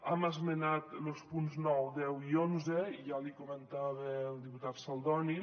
hem esmenat los punts nou deu i onze i ja l’hi comentava al diputat saldoni